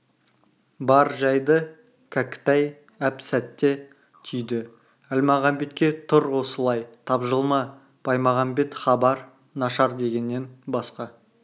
бар жайды кәкітай әп-сәтте түйді әлмағамбетке тұр осылай тапжылма баймағамбет хабар нашар дегеннен басқа